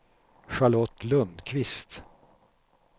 Charlotte Lundqvist